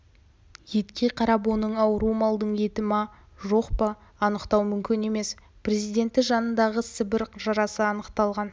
етке қарап оның ауру малдың етіма жоқ па анықтау мүмкін емес президенті жанындағы сібір жарасы анықталған